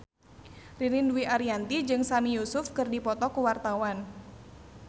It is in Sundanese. Ririn Dwi Ariyanti jeung Sami Yusuf keur dipoto ku wartawan